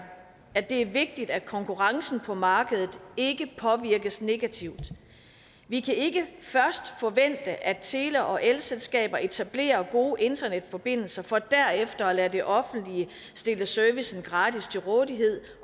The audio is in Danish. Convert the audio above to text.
at det er vigtigt at konkurrencen på markedet ikke påvirkes negativt vi kan ikke først forvente at tele og elselskaber etablerer gode internetforbindelser for derefter at lade det offentlige stille servicen gratis til rådighed